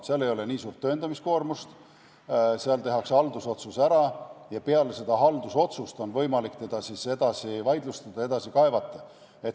Seal ei ole nii suurt tõendamiskoormust, tehakse haldusotsus ära ja peale seda on võimalik siis vaidlustada, edasi kaevata.